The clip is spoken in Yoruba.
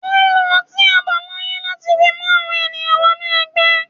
Wọ́n lo ọtí àbáláyé láti fi mú àwọn èèyàn wọ́nú ẹgbẹ́.